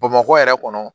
Bamakɔ yɛrɛ kɔnɔ